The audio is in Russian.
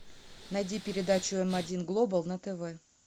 найди передачу м один глобал на тв